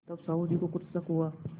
तब साहु जी को कुछ शक हुआ